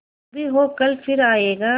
जो भी हो कल फिर आएगा